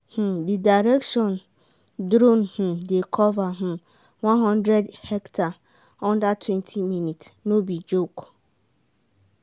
um the direction drone um dey cover um one hundred hectare undertwentyminutes. no be joke.